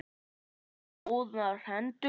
Ertu með góðar hendur?